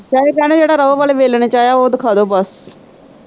ਕਹਿੰਦੇ ਭੈਣ ਜਿਹੜਾ ਰੋ ਵਾਲੇ ਵੇਲਣੇ ਚ ਆਇਆ ਓ ਦਿਖਾਦੋ ਬਸ।